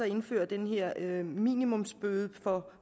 indføre den her minimumsbøde for